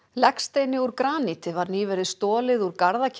legsteini úr graníti var nýverið stolið úr